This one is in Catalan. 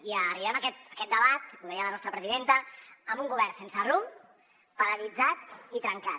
i arribem a aquest debat ho deia la nostra presidenta amb un govern sense rumb paralitzat i trencat